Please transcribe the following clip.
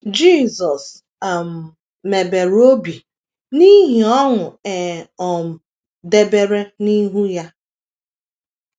Jisọs um mebere obi n’ihi ọṅụ e um debere n’ihu ya